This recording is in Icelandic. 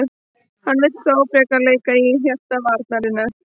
Hann vill þó frekar leika í hjarta varnarinnar.